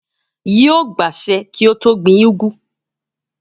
Yóò gbàsẹ pé kí ó gbin úgú